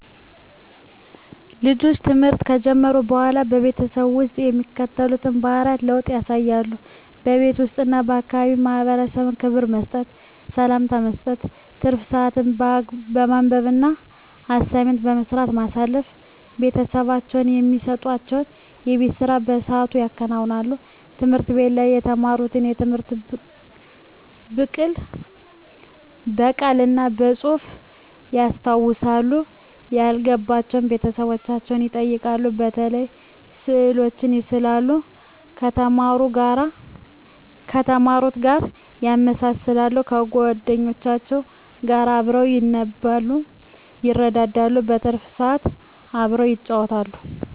ልጆች ትምህርት ከጀመሩ በሆላ በቤተሰብ ውስጥ የሚከተሉትን የባህሪ ለውጥ ያሳያሉ:-በቤት ውስጥ እና ለአካባቢው ማህበረሰብ ክብር መስጠት፤ ሰላምታ መስጠት፤ ትርፍ ስአትን በማንበብ እና አሳይመንት በመስራት ማሳለፍ፤ ቤተሰቦቻቸው እሚሰጡዋቸውን የቤት ስራ በስአቱ ያከናውናሉ፤ ትምህርት ቤት ላይ የተማሩትን ትምህርት ብቅል እና በጹህፍ ያስታውሳሉ፤ ያልገባቸውን ቤተሰቦቻቸውን ይጠይቃሉ፤ የተለያዩ ስእሎችን ይስላሉ ከተማሩት ጋር ያመሳክራሉ፤ ከጎደኞቻቸው ጋር አብረው ያነባሉ ይረዳዳሉ። በትርፍ ስአት አብረው ይጫወታሉ።